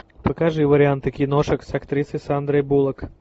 покажи варианты киношек с актрисой сандрой буллок